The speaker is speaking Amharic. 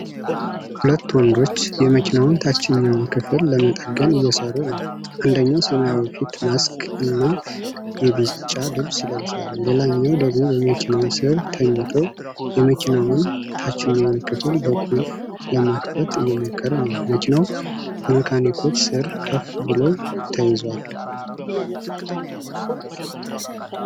ሁለት ወንዶች የመኪናውን ታችኛው ክፍል ለመጠገን እየሰሩ ነው። አንደኛው ሰማያዊ ፊት ማስክ እና የቢጫ ልብስ ለብሷል። ሌላኛው ደግሞ በመኪናው ስር ተኝቶ የመኪናውን ታችኛው ክፍል በቁልፍ ለመክፈት እየሞከረ ነው። መኪናው በመካኒኮች ስር ከፍ ብሎ ተይዟል።